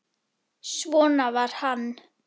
Svona var hann.